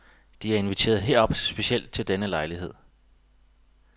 De er inviteret herop specielt til denne lejlighed.